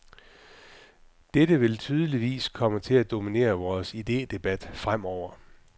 Dette vil tydeligvis komme til at dominere vores idedebat fremover.